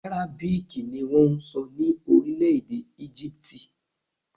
Àrábíìkì ni wọ́n ń sọ ní orílẹ̀-èdè Égípítì